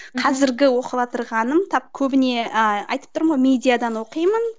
қазіргі оқыватырғаным тап көбіне ы айтып тұрмын ғой медиадан оқимын